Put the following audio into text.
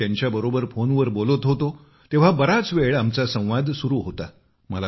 जेव्हा मी त्यांच्यासोबत फोनवर बोलत होतो तेव्हा बराच वेळ आमचा संवाद सुरू होता